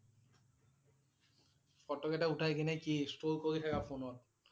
Photo কেইটা উঠাই কিনে কি store কৰি থাকা ফোনত?